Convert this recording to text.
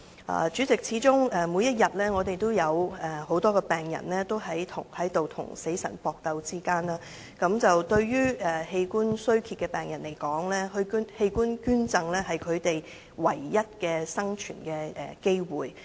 代理主席，始終我們每天也有很多病人正在跟死神搏鬥，對於器官衰竭的病人來說，器官捐贈是他們唯一的生存機會。